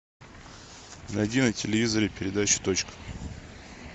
найди на телевизоре передачу точка